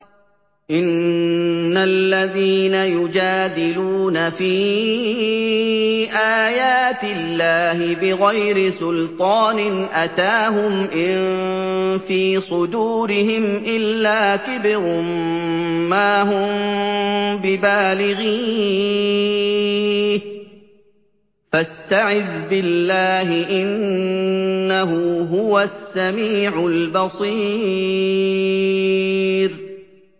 إِنَّ الَّذِينَ يُجَادِلُونَ فِي آيَاتِ اللَّهِ بِغَيْرِ سُلْطَانٍ أَتَاهُمْ ۙ إِن فِي صُدُورِهِمْ إِلَّا كِبْرٌ مَّا هُم بِبَالِغِيهِ ۚ فَاسْتَعِذْ بِاللَّهِ ۖ إِنَّهُ هُوَ السَّمِيعُ الْبَصِيرُ